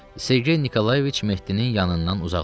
Sergey Nikolayeviç Mehdinin yanından uzaqlaşmırdı.